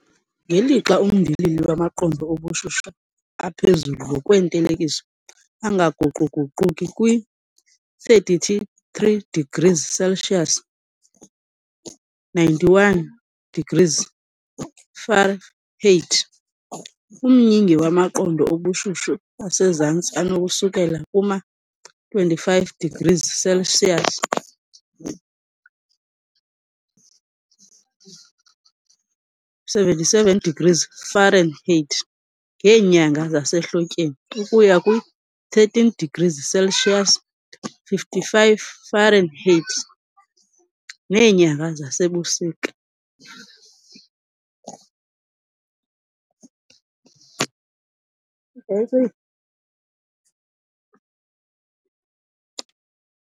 Ngelixa umndilili wamaqondo obushushu aphezulu ngokwentelekiso angaguquguquki kwi-33 degrees Celsius, 91 degrees Fahrenheit, umyinge wamaqondo obushushu asezantsi anokususela kuma-25 degrees Celsius, 77 degrees Fahrenheit, ngeenyanga zasehlotyeni ukuya kwi-13 degrees Celsius, 55 Fahrenheit, ngeenyanga zasebusika.